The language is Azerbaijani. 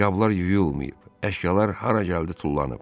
Qablar yuyulmayıb, əşyalar hara gəldi tullanıb.